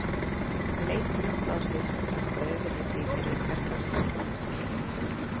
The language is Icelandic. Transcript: Leit Njáll á sig sem dökka ofurhetju í gervi hversdagslegs manns?